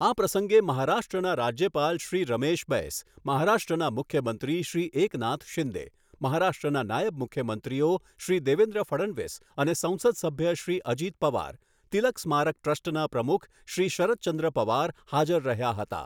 આ પ્રસંગે મહારાષ્ટ્રના રાજ્યપાલ શ્રી રમેશ બૈસ, મહારાષ્ટ્રના મુખ્યમંત્રી શ્રી એકનાથ શિંદે, મહારાષ્ટ્રના નાયબ મુખ્યમંત્રીઓ શ્રી દેવેન્દ્ર ફડણવીસ અને સંસદ સભ્ય શ્રી અજિત પવાર, તિલક સ્મારક ટ્રસ્ટના પ્રમુખ શ્રી શરદચંદ્ર પવાર હાજર રહ્યા હતા.